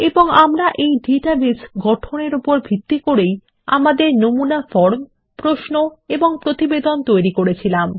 এবং আমরা এই ডাটাবেস গঠন এর উপর ভিত্তি করে আমাদের নমুনা ফর্ম প্রশ্ন এবং প্রতিবেদন তৈরী করেছিলাম